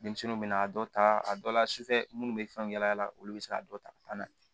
Denmisɛnninw bɛ na dɔ ta a dɔ la sufɛ minnu bɛ fɛnw yaala yaala olu bɛ se ka dɔ ta ka taa n'a ye